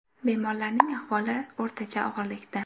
Bemorlarning ahvoli o‘rtacha og‘irlikda.